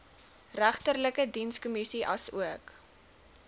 regterlike dienskommissie asook